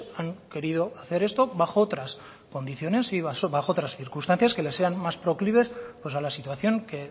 han querido hacer esto bajo tras condiciones y bajo tras circunstancias que le sean más proclives pues a la situación que